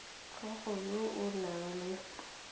tlhago yo o nang le